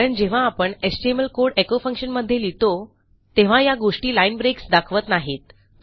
कारण जेव्हा आपणhtml कोड एचो फंक्शन मध्ये लिहितो तेव्हा या गोष्टी लाईन ब्रेक्स दाखवत नाहीत